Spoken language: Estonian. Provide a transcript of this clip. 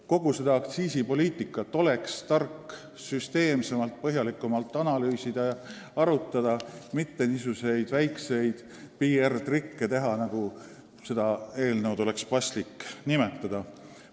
Kogu see aktsiisipoliitika oleks tark süsteemsemalt, põhjalikumalt läbi analüüsida, mitte teha niisuguseid väikeseid PR-trikke, milleks seda eelnõu oleks paslik nimetada.